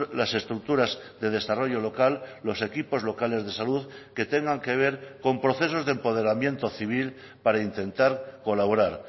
las estructuras de desarrollo local los equipos locales de salud que tengan que ver con procesos de empoderamiento civil para intentar colaborar